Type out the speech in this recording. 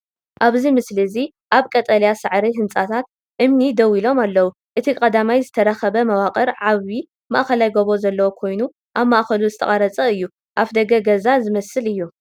ኣብዚ ምስሊ እዚ ኣብ ቀጠልያ ሳዕሪ ህንጻታት እምኒ ደው ኢሎም ኣለዉ። እቲ ቀዳማይ ዝተረኽበ መዋቕር ዓቢ ማእከላይ ጎቦ ዘለዎ ኮይኑ ኣብ ማእከሉ ዝተቖርጸ እዩ። ኣፍደገ ገዛ ዝመስል እዩ ።